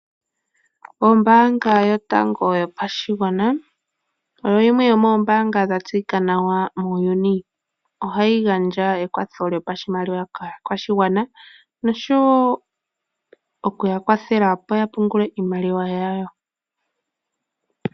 Ombaanga yotango yopashigwana oyo yimwe yomoombaanga dha tseyika nawa muuyuni. Ohayi gandja ekwatho lyopashimaliwa kaakwashigwana nosho woo oku ya kwathela opo ya pungule iimaliwa yawo.